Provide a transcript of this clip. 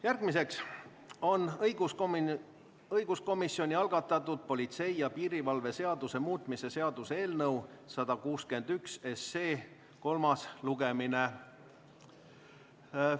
Järgmine on õiguskomisjoni algatatud politsei ja piirivalve seaduse muutmise seaduse eelnõu 161 kolmas lugemine.